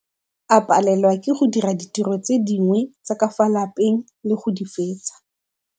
A palelwa ke go dira ditiro tse dingwe tsa ka fa lapeng le go di fetsa.